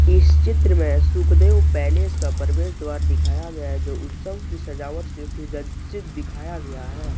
इस चित्र में सुखदेव पैलेस का प्रवेश द्वार दिखाया गया है। जो उत्सव की सजावट से सुज्जित दिखाया गया है।